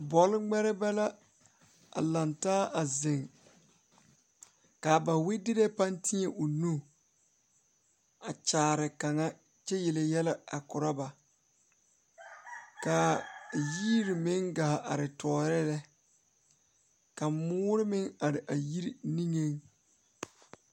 Pɔgeba la a lantaa a zeŋ dɔɔba banuu a zɔŋ a a kuriwiire kaŋa eɛ ziɛ kyɛ taa peɛle kaa kuriwiire mine e sɔglɔ kyɛ ka konkobile fare a kuriwiire poɔ a yiri niŋe